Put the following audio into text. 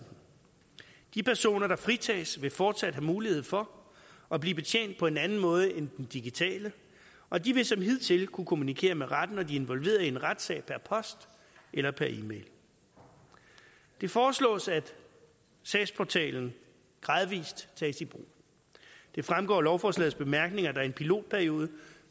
de personer der fritages vil fortsat have mulighed for at blive betjent på en anden måde end den digitale og de vil som hidtil kunne kommunikere med retten når de er involveret i en retssag per post eller per e mail det foreslås at sagsportalen gradvis tages i brug det fremgår af lovforslagets bemærkninger at der i en pilotperiode